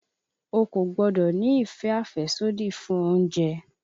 O kò gbọ́dọ̀ ní ìfẹ́ àfẹ́sódì fún oúnjẹ!